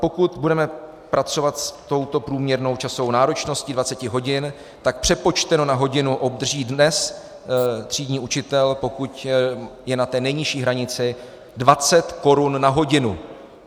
Pokud budeme pracovat s touto průměrnou časovou náročností 20 hodin, tak přepočteno na hodinu obdrží dnes třídní učitel, pokud je na té nejnižší hranici, 20 korun na hodinu.